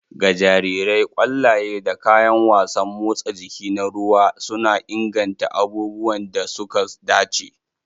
Ga jarirai, ƙwallaye da kayan wasan motsa jiki na ruwa suna inganta abubuwan da suka dace.